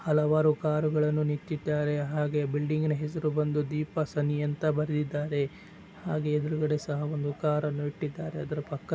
ಹಲವಾರು ಕಾರುಗಳನ್ನು ನಿಂತ್ತಿದ್ದಾರೆ ಹಾಗೇ ಬಿಲ್ಡಿಂಗನ ಹೆಸರು ಬಂದು ದೀಪ ಸನ್ನಿ ಅಂತ ಬರೆದಿದ್ದಾರೆ ಹಾಗೇ ಎದರುಗಡೆ ಸಹ ಒಂದು ಕಾರು ಅನ್ನು ಇಟ್ಟಿದರೆ. ಆದರ ಪಕ್ಕ--